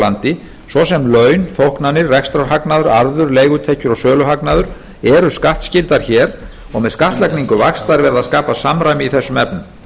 landi svo sem laun þóknanir rekstrarhagnaður arður leigutekjur og söluhagnaður eru skattskyldar hér og með skattlagningu vaxta er verið að skapa samræmi í þessum efnum